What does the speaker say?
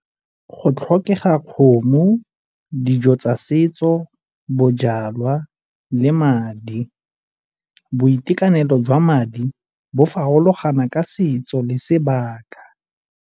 Go tlhokega kgomo, dijo tsa setso, bojalwa le madi. Boitekanelo jwa madi bo farologana ka setso le sebaka.